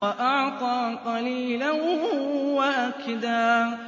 وَأَعْطَىٰ قَلِيلًا وَأَكْدَىٰ